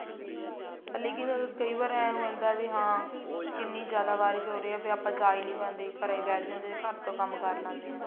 ਲੇਕਿਨ ਕਈ ਵਾਰ ਏਂ ਹੋ ਜਾਂਦਾ ਵੀ ਹਾਂ ਕਿੰਨੀ ਜਿਆਦਾ ਬਾਰਿਸ਼ ਹੋ ਰਹੀ ਹੈ ਵੀ ਆਪਾਂ ਜਾ ਹੀ ਨੀ ਪਾਉਂਦੇ ਘਰਾਂ ਹੀ ਬੈਠ ਜਾਂਦੇ ਹਾਂ ਘਰ ਤੋਂ ਕੰਮ ਕਰ ਲੈਂਦੇ ਹਾਂ